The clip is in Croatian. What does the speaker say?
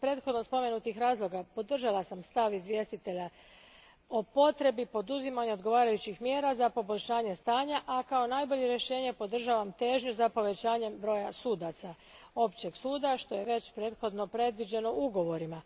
Iz prethodno spomenutih razloga podržala sam stav izvjestitelja o potrebi poduzimanja odgovarajućih mjera za poboljšanje stanja, a kao najbolje rješenje podržavam težnju za povećanjem broja sudaca općeg suda što je već prethodno predviđeno ugovorima.